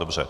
Dobře.